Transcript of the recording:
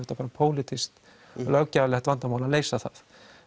pólitískt vandamál að leysa það